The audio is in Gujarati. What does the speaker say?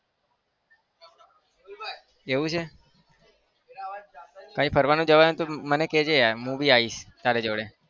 એવું છે કઈ ફરવાનું જવાનું હોય તો મને કહેજે યાર હું બી આવીશ તારી જોડે.